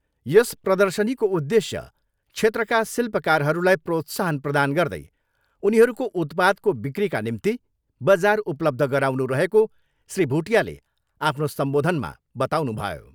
यस प्रर्दशनीको उद्धेश्य क्षेत्रका शिल्पकारहरूलाई प्रोत्साहन प्रदान गर्दै उनीहरूको उत्पादको बिक्रीका निम्ति बजार उपलब्ध गराउनु रहेको श्री भुटियाले आफ्नो सम्बोधनमा बताउनुभयो।